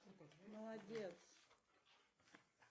молодец